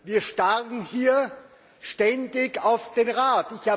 Wir starren hier ständig auf den Rat!